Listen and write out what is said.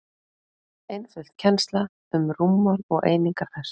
einföld kennsla um rúmmál og einingar þess